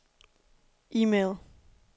e-mail